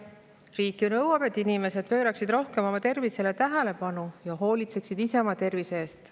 Riik ju nõuab, et inimesed pööraksid rohkem oma tervisele tähelepanu ja hoolitseksid ise oma tervise eest.